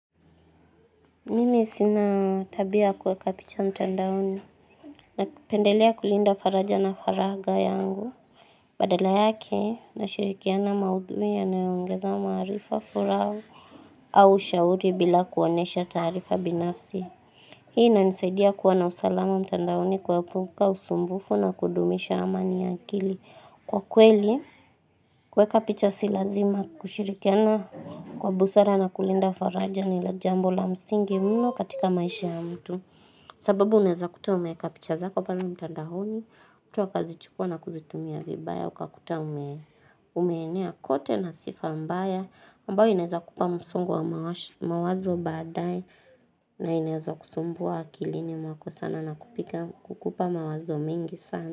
Nini sinatabia kuweka picha mtandaoni na kipendelea kulinda faraja na faraga yangu. Badala yake na shirikiana maudhui ya naiongeza marifa furau au shauri bila kuonesha tarifa binafsi. Hii na nisaidia kuwa na usalama mtandaoni kwa puka usumbufu na kudumisha amani ya kili. Kwa kweli, kweka picha silazima kushirikena kwa busara na kulinda faraja ni lajambo la msingi mno katika maisha ya mtu. Sababu uneza kutua umeka picha zako pala mtandahoni, kutua kazi chukua na kuzitumia vibaya, uka kutua umeenea kote na sifa mbaya, mbao uneza kupa msongo wa mawazo baadae na uneza kusumbua kilini mwako sana na kupika kukupa mawazo mingi sana.